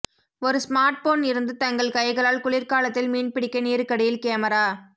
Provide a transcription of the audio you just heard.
ஒரு ஸ்மார்ட்போன் இருந்து தங்கள் கைகளால் குளிர்காலத்தில் மீன்பிடிக்க நீருக்கடியில் கேமரா